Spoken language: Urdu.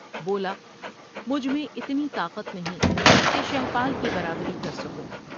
بولا مجھ میں اتنی طاقت نہیں کہ شہپال کی برابری کرسکوں ۔